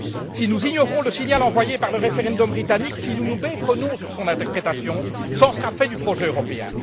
Si nous ignorons le signal envoyé par le référendum britannique, si nous nous méprenons sur son interprétation, cela en sera fait du projet européen.